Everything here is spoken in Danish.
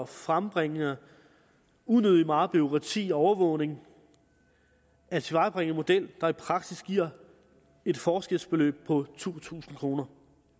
frembringe unødig meget bureaukrati og overvågning at tilvejebringe en model der i praksis giver et forskelsbeløb på to tusind kroner